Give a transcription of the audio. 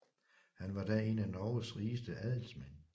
Han var da en af Norges rigeste adelsmænd